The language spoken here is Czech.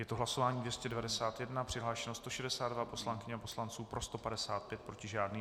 Je to hlasování 291, přihlášeno 162 poslankyň a poslanců, pro 155, proti žádný.